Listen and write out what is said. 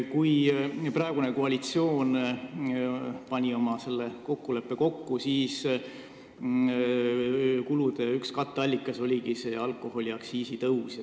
Kui praegune koalitsioon selleteemalise kokkuleppe sõlmis, siis üks kulude katteallikas oligi alkoholiaktsiisi tõus.